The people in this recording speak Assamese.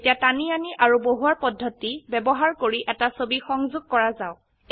এতিয়া টানি আনি আৰু বহুৱাৰ পদ্ধতি ব্যবহাৰ কৰি এটা ছবি সংযোগ কৰা যাওক